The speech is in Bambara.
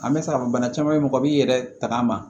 An bɛ se k'a fɔ bana caman bɛ yen mɔgɔ b'i yɛrɛ tagama